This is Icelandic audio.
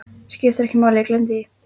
Skiptir ekki máli, gleymdu því.